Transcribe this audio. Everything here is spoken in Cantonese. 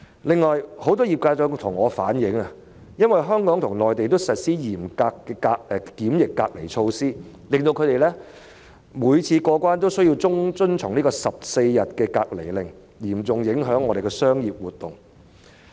此外，很多業界人士向我反映，因為香港與內地均實施嚴格的檢疫隔離措施，令他們每次出入境後都要遵從14天隔離令，因而嚴重影響本港的商業活動。